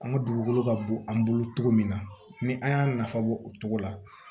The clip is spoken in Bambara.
An ka dugukolo ka bon an bolo togo min na ni an y'a nafa bɔ o cogo la